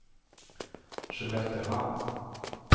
Skelleftehamn